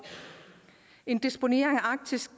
en disponering af arktis